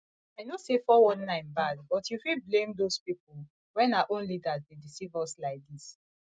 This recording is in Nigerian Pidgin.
i know say 419 bad but you fit blame doz people when our own leaders dey deceive us like dis